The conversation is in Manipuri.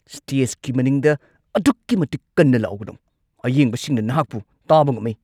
ꯁ꯭ꯇꯦꯖꯀꯤ ꯃꯅꯤꯡꯗ ꯑꯗꯨꯛꯀꯤ ꯃꯇꯤꯛ ꯀꯟꯅ ꯂꯥꯎꯒꯅꯨ꯫ ꯑꯌꯦꯡꯕꯁꯤꯡꯅ ꯅꯍꯥꯛꯄꯨ ꯇꯥꯕ ꯉꯝꯃꯤ꯫